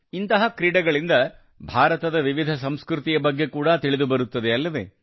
ಇಂತಹ ಕ್ರೀಡೆಗಳಿಂದ ಭಾರತದ ವಿವಿಧ ಸಂಸ್ಕೃತಿಯ ಬಗ್ಗೆ ಕೂಡಾ ತಿಳಿದುಬರುತ್ತದೆ ಅಲ್ಲವೇ